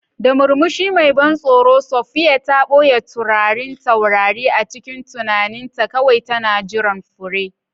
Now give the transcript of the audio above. Da murmushi mai ban tsoro, Sophia ta ɓoye taurarin taurari a cikin tunaninta, kawai tana jiran fure.